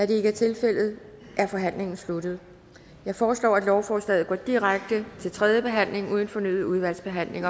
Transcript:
det ikke er tilfældet er forhandlingen sluttet jeg foreslår at lovforslaget går direkte til tredje behandling uden fornyet udvalgsbehandling